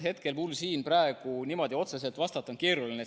Hetkel on mul niimoodi otseselt vastata keeruline.